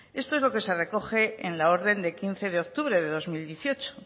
esto es lo que se recoge en la orden de quince de octubre de dos mil dieciocho